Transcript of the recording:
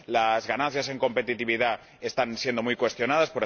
Las ganancias en competitividad están siendo muy cuestionadas